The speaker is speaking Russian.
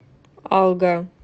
алга